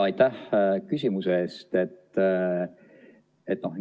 Aitäh küsimuse eest!